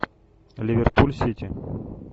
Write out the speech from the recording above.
ливерпуль сити